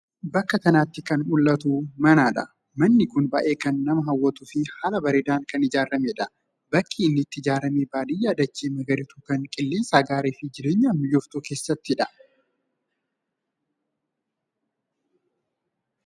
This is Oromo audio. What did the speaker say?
Bakka kanatti kan mul'atu mana dha. Manni kun baay'ee kan nama hawwatuu fi haala bareedaan kan ijaaramedha. Bakki inni itti ijaarame baadiyyaa dachee magariituu kan qilleensa gaarii fi jireenyaaf mijooftuu keessatti.